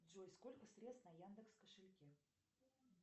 джой сколько средств на яндекс кошельке